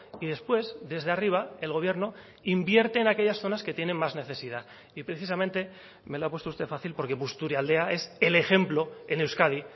y después desde arriba el gobierno invierte en aquellas zonas que tienen más necesidad y precisamente me lo ha puesto usted fácil porque busturialdea es el ejemplo en euskadi